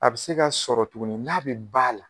A bɛ se ka sɔrɔ tuguni n'a be ba la